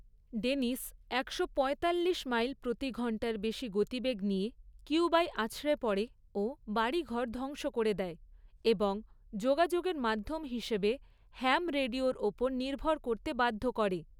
Dennis একশো পঁয়তাল্লিশ mile প্রতি ঘণ্টার বেশি গতিবেগ নিয়ে কিউবায় আছড়ে পড়ে ও বাড়িঘর ধ্বংস করে দেয় এবং যোগাযোগের মাধ্যম হিসেবে হ্যাম রেডিওর ওপর নির্ভর করতে বাধ্য করে।